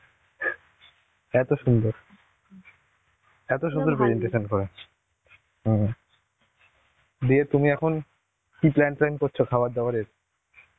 এত সুন্দর. এত সুন্দর perentation করাচ্ছে. হম. দিয়ে তুমি এখন কি plan ট্যান করছো খাবার দাবারের?